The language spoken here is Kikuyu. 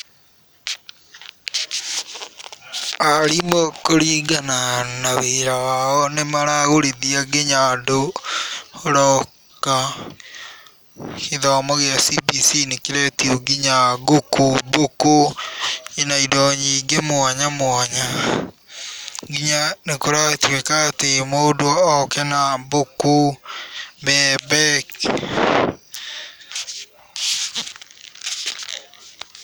Arimũ kũringana wĩra wao nĩ maragũrithia nginya andũ locker. Gĩthomo gĩa CBC nĩ kĩretia nginya ngũkũ, bũkũ na indo nyingĩ mwanya mwanya nginya nĩ kũratuĩka atĩ mũndũ oke na bũkũ, ngũkũ, bebe.